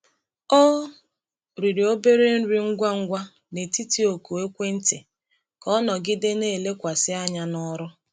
Ọ riri obere nri ngwa ngwa n’etiti oku ekwentị ka ọ nọgide na-elekwasị anya n’ọrụ.